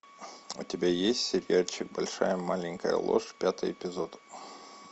у тебя есть сериальчик большая маленькая ложь пятый эпизод